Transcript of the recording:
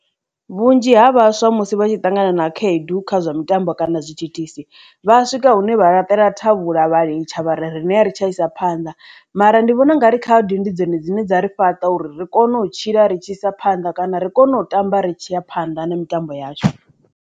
Vhunzhi ha vhaswa musi vha tshi ṱangana na khaedu kha zwa mitambo kana zwithithisi vha swika hune vhalaṱela thavhula vha litsha vha rine a ri tsha isa phanḓa mara ndi vhona u nga ri khaedu ndi dzone dzine dza ri fhaṱa uri ri kone u tshila ri tshi isa phanḓa kana ri kone u tamba ri tshi ya phanḓa na mitambo yashu.